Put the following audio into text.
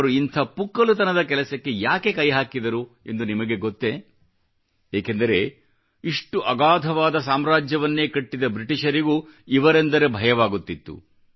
ಅವರು ಇಂಥ ಪುಕ್ಕಲುತನದ ಕೆಲಸಕ್ಕೆ ಯಾಕೆ ಕೈ ಹಾಕಿದರು ಎಂದು ನಿಮಗೆ ಗೊತ್ತೇ ಏಕೆಂದರೆ ಇಷ್ಟು ಅಗಾಧವಾದ ಸಾಮ್ರಾಜ್ಯವನ್ನೇ ಕಟ್ಟಿದ ಬ್ರಿಟಿಷರಿಗೂ ಇವರೆಂದರೆ ಭಯವಾಗುತ್ತಿತ್ತು